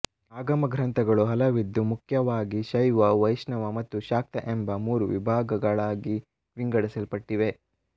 ಆಗಮಗ್ರಂಥಗಳು ಹಲವಿದ್ದು ಮುಖ್ಯವಾಗಿ ಶೈವ ವೈಷ್ಣವ ಮತ್ತು ಶಾಕ್ತ ಎಂಬ ಮೂರು ವಿಭಾಗಳಾಗಿ ವಿಂಗಡಿಸಲ್ಪಟ್ಟಿವೆ